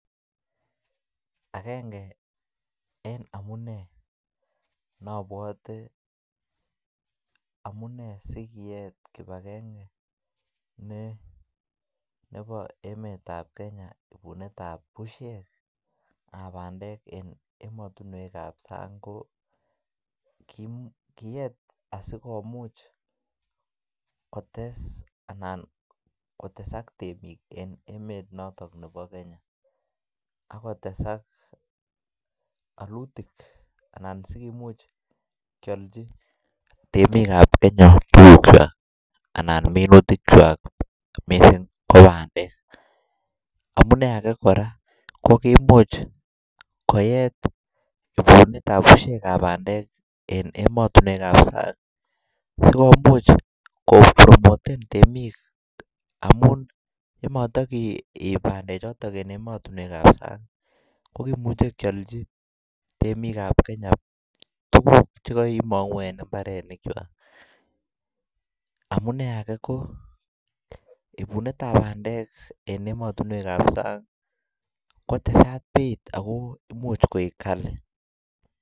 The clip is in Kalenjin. Agenge en amune neobwote amune si kiyet kibagengeit nebo emet Kenya ibunetab busyek ab bandek en emotinwek ab sang ko kiyeet asi komuch kotes anan kotesak temik en emet notok nebo Kenya ak kotesak alutik anan Imuch kealchi temik ab Kenya rurutikwak anan minutikwak mising ko bandek amune age kora ko Imuch koet ibunetab bandek en emotinwek ab sang komuch kopromoten temik amun ye mata keib bandechoto en emotinwek ab sang kokimuche kealchi temik ab Kenya tuguk Che kaimangu en mbarenikwak ibunetab bandek en emotinwek ab sang kotesat beit ako Imuch koik kali